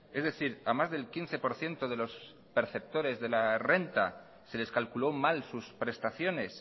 es decir a más del quince por ciento de los perceptores de la renta se les calculó mal sus prestaciones